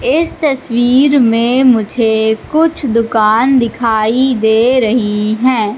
इस तस्वीर में मुझे कुछ दुकान दिखाई दे रही हैं।